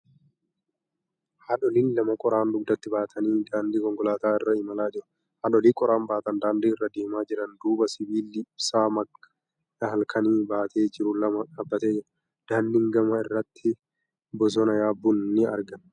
Haadholiin lama qoraan dugdatti baatanii daandii konkolaataa irra imalaa jiru. Haadholii qoraan baatanii daandii irra deemaa jiran duuba sibiilli ibsaa halkanii baatee jiru lama dhaabbatee jira. Daandiin gama irratti bosonni yabbuun ni argama.